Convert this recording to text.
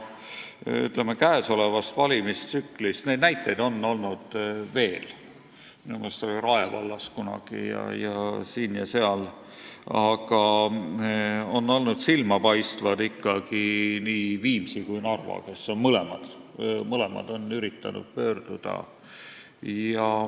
Käesoleva valimistsükli jooksul – neid näiteid on olnud veel, minu meelest oli Rae vallas kunagi ning on olnud siin ja seal – on olnud silmapaistvad ikkagi nii Viimsi kui ka Narva, kes on mõlemad üritanud kohtusse pöörduda.